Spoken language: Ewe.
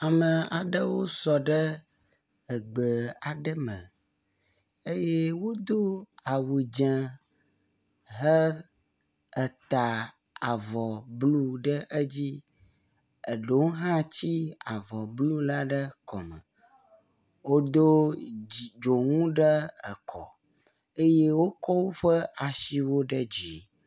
Ame aɖewo wosɔ ɖe egbe aɖe me, eye wodo awu dze eye heta avɔ blue ɖe edzi ɖewo hã do avɔ blue, eɖewo hã tsi avɔ blue ɖe ekɔme, wodo dzonu ɖe ekɔ blue eye wokɔ woƒe asiwo ɖe dzi